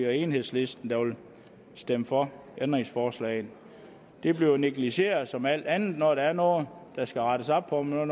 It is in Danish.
og enhedslisten der vil stemme for ændringsforslaget det bliver negligeret som alt andet når der er noget der skal rettes op på når